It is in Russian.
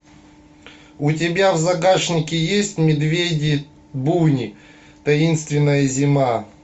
у тебя в загашнике есть медведи буни таинственная зима